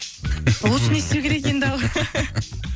ол үшін не істеу керек енді ал